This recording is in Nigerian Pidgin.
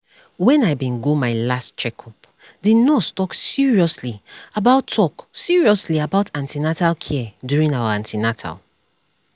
when i bin go my last checkup the nurse talk seriously about talk seriously about an ten atal care during our an ten atal